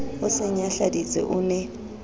o se nyahladitse o ne